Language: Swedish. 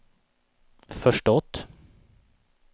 förstått